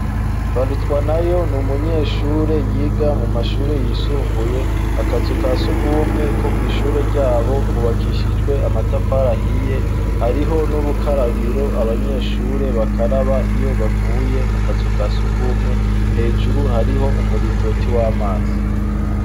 Barutwanayo n’umunyeshure yiga mu mashure yisumbuye, akazu kasugumwe ko kw'ishure ryabo kubakishijwe amatafari ahiye, hariho n'urukarabiro abanyeshure bakaraba iyo bavuye mu kazu kasugumwe, hejuru hariho umuringoti w'amazi.